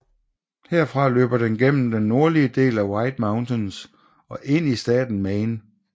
Herfra løber den gennem den nordlige del af White Mountains og ind i staten Maine